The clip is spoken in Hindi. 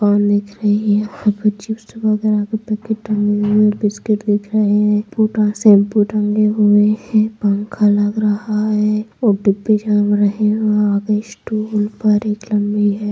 पान दिख रही है ऊपर चिप्स बैगेरा का पैकेट टांगें हुए है और बिस्किट सेम्पु टांगे हुए है पंखा लग रहा है --